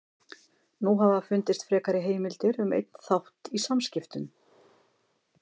Nú hafa fundist frekari heimildir um einn þátt í samskiptum